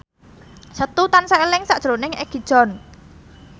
Setu tansah eling sakjroning Egi John